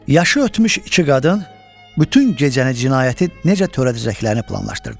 Yaşı ötmüş iki qadın bütün gecəni cinayəti necə törədəcəklərini planlaşdırdılar.